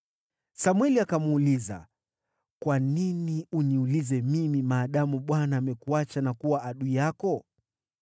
Samweli akamuuliza, “Kwa nini uniulize mimi, maadamu Bwana amekuacha na kuwa adui yako?